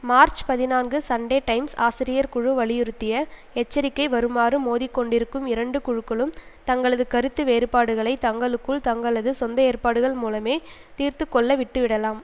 March பதினான்கு Sunday Times ஆசிரியர் குழு வலியுறுத்திய எச்சரிக்கை வருமாறு மோதி கொண்டிருக்கும் இரண்டு குழுக்களும் தங்களது கருத்து வேறுபாடுகளை தங்களுக்குள் தங்களது சொந்த ஏற்பாடுகள் மூலமே தீர்த்து கொள்ள விட்டு விடலாம்